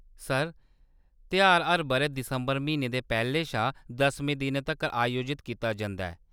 Sir, तेहार हर बʼरै दिसंबर म्हीने दे पैह्‌‌‌ले शा दसमें दिनै तक्कर आयोजत कीता जंदा ऐ।